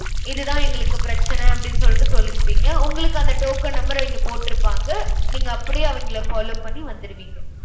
இதுதான் எங்களுக்கு பிரச்சனை அப்படின்னு சொல்லிட்டு சொல்லிருப்பீங்க. உங்களுக்கு அந்த token number அவிங்க போட்ருப்பாங்க. நீங்க அப்படியே அவிங்கள follow பண்ணி வந்திருவீங்க.